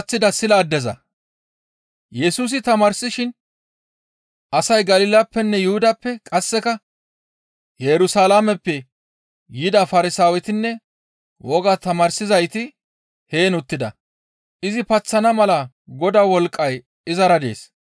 Yesusi tamaarsishin asay Galilappenne Yuhudappe qasseka Yerusalaameppe yida Farsaawetinne wogaa tamaarsizayti heen uttida. Izi paththana mala Godaa wolqqay izara dees.